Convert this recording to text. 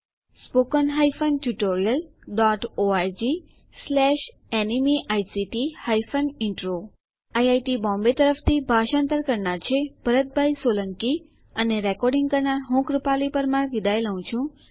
spoken hyphen tutorial dot O R G slash NMEICT hyphen intro IIT Bombay તરફથી ભાષાંતર કરનાર હું ભરત સોલંકી વિદાય લઉં છું